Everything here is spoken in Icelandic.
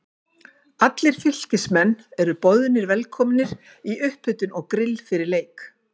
Allir Fylkismenn eru boðnir velkomnir í upphitun og grill fyrir leik.